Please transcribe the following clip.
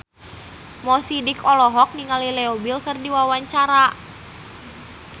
Mo Sidik olohok ningali Leo Bill keur diwawancara